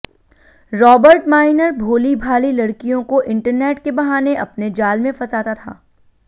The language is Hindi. रॉबर्ट माइनर भोली भाली लड़कियों को इंटरनेट के बहाने अपने जाल में फंसाता था